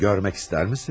Görmək istərsiniz?